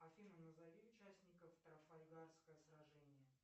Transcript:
афина назови участников трафальгарского сражения